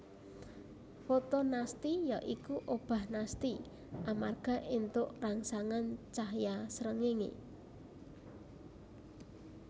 Fotonasti ya iku obah nasti amarga éntuk rangsangan cahya srengenge